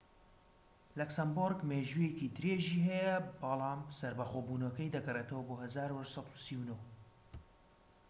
لەکسەمبۆرگ مێژوویەکی درێژی هەیە بەڵم سەربەخۆبونەکەی دەگەرێتەوە بۆ ١٨٣٩